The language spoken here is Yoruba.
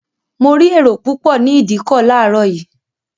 Mo rí èrò púpọ̀ ní ìdíkọ̀ láàárọ̀ yìí